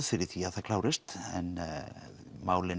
fyrir því að það klárist en málin